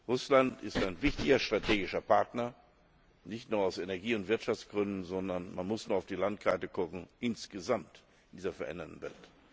Russland ist ein wichtiger strategischer Partner, nicht nur aus Energie und Wirtschaftsgründen, sondern man muss nur auf die Landkarte schauen insgesamt in dieser veränderten Welt.